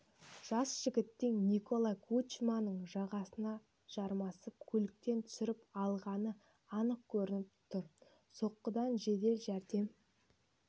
жас жігіттің николай кучманың жағасына жармасып көліктен түсіріп алғаны анық көрініп тұр соққыдан жедел жәрдем